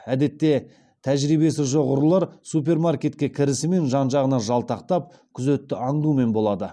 әдетте тәжірибесі жоқ ұрылар супермаркетке кірісімен жан жағына жалтақтап күзетті аңдумен болады